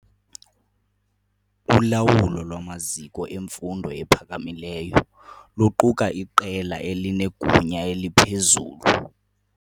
Ulawulo lwamaziko emfundo ephakamileyo luquka iqela elinegunya eliphezulu.